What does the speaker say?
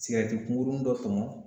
sigɛriti kunkurunin dɔ tɔmɔ